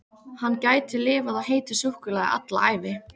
Hann gæti lifað á heitu súkkulaði alla ævi!